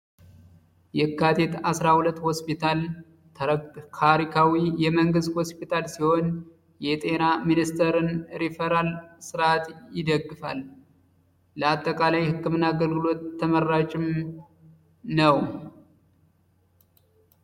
የካቴት 12 ሆስፒታል ካሪካዊ የመንግሥት ሆስፒታል ሲሆን የጤና ሚኒስተርን ሪፈራል ሥርዓት ይደግፋል ለአጠቃላይ ሕክምን አገልግሎት ተመራጭም ነው።